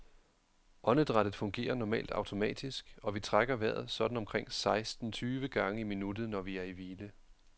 Åndedrættet fungerer normalt automatisk, og vi trækker vejret sådan omkring seksten tyve gange i minuttet, når vi er i hvile.